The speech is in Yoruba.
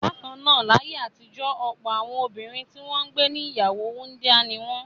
Bákan náà, láyé àtijọ́ ọ̀pọ̀ àwọn obìnrin tí wọ́n gbé ní ìyàwó wúńdíá ni wọ́n.